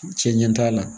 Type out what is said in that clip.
Cɛ ɲɛ t'a la